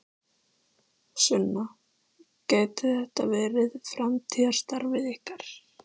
Sunna: Gæti þetta verið framtíðarstarfið ykkar?